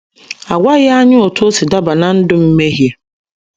A gwaghị anyị otú o si daba ná ndụ mmehie.